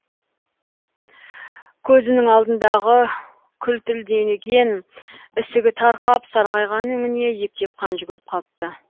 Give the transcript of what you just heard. көзінің алдындағы күлтілдеген ісігі тарқап сарғайған өңіне ептеп қан жүгіріп қалыпты